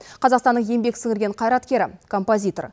қазақстанның еңбек сіңірген қайраткері композитор